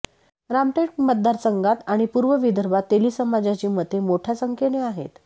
रामटेक मतदारसंघात आणि पूर्व विदर्भात तेली समाजाची मते मोठ्या संख्येने आहेत